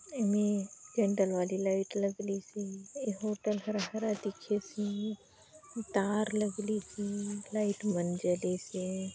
एमे कैन्डल वाली लाइट लगलीसे ये हॉटल हरा- हरा दिखेसे तार लगलीसे लाइट मन जलेसे।